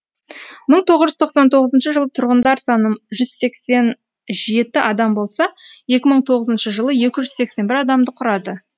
мың тоғыз жүз тоқсан тоғызыншы жылы тұрғындар саны жүз сексен жеті адам болса екі мың тоғызыншы жылы екі жүз сексен бір адамды құрады